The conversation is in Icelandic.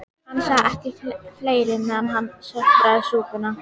Gunnar: Þú vilt meina að þau hafi bara ekkert gert?